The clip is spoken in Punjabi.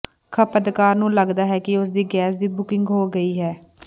ਖਪਤਕਾਰ ਨੂੰ ਲਗਦਾ ਹੈ ਕਿ ਉਸ ਦੀ ਗੈਸ ਦੀ ਬੁਕਿੰਗ ਹੋ ਗਈ ਹੈ